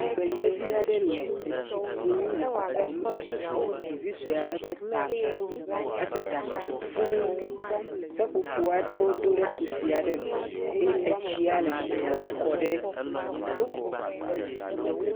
Tugbedze aɖe le etsi kum, le kɔkɔm ɖe ɖevi sɔe aɖe ƒe tame. Eƒe ɖa sugbɔ fuu, seƒoƒo aɖewo ɖoe ɖe kusi aɖe me eye etsi le tɔtrɔm ke ɖe……..